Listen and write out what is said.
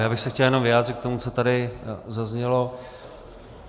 Já bych se chtěl jenom vyjádřit k tomu, co tady zaznělo.